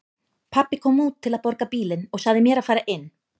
Pabbi kom út til að borga bílinn og sagði mér að fara inn.